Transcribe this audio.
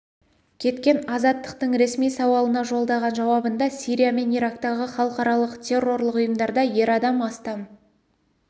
кеткен азаттықтың ресми сауалына жолдаған жауабында сирия мен ирактағы халықаралық террорлық ұйымдарда ер адам астам